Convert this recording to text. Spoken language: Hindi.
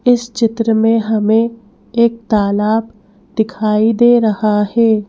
इस चित्र में हमें एक तालाब दिखाई दे रहा है।